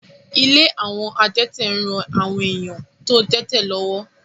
Ilé àwọn adẹ́tẹ̀ ń ran àwọn èèyàn tó dẹ́tẹ̀ lọ́wọ́